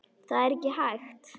Það er ekki hægt